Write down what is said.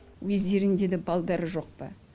өздеріңде да балдары жоқ па